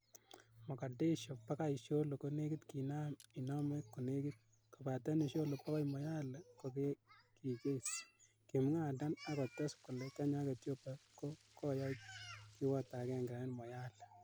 "Mogadashe bogoi isiolo konekit kinaam inome konekit, kobaten Isiolo bogoi Moyale kokegiges," Kimwa Adan, ak kotes kole Kenya ak Ethiopia ko koyai kiwoto agenge en Moyale.